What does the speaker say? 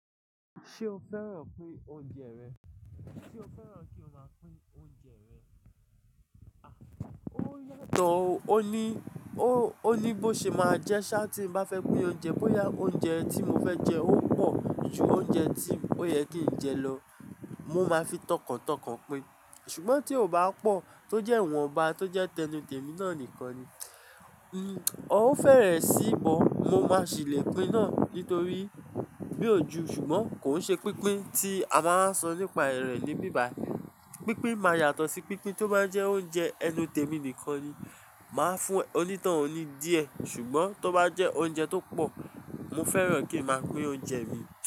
Ṣé o fẹ́ràn pín oúnjẹ rẹ? Sé o fẹ́ràn kí o máa pín oúnjẹ rẹ? À, ó yàtọ̀ o. Ó ní, ó, ó ní bó ṣe máa jẹ́ ṣá tí mo bá fẹ́ pín oúnjẹ, bó ya oúnjẹ tí mo fẹ́ jẹ ó pọ̀ ju oúnjẹ tí ó yẹ kí n jẹ lọ, mo máa fi tọkàntọkàn pín. Ṣùgbọ́n tí o bá pọ̀ tó jẹ́ ìwọ̀nba tó jẹ́ tẹnútèmí náà nìkan ni. Hmn, ó fẹ́rẹ̀ sí ibọn mo máa sì le pín náà nítorí bí ò ju ṣùgbọ́n kò ṣe pínpín tí a máa ń sọ nípa ère ní bíbài. Pínpín máa yàtọ̀ sí pínpín tó bá jẹ́ oúnjẹ ẹnu tẹ̀mí nìkan ni. Máa fún ẹ, ó ní toun ní díẹ̀. Ṣùgbọ́n tó bá jẹ́ oúnjẹ tó pọ̀, mo fẹ́ràn kí n máa pín oúnjẹ mi.